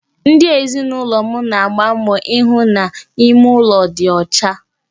Ndi ezinụlọ m na-agba mbọ ihụ na ime ụlọ dị ọcha